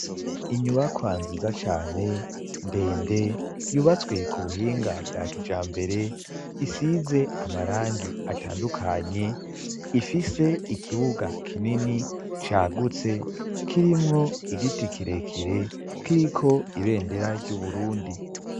Inyubakwa nziza cane ndende yubatswe ku buhinga bwa kijambere isize amarangi atandukanye ifise ikibuga kinini cagutse kirimwo igiti kirekire kiriko ibendera ry'Uburundi.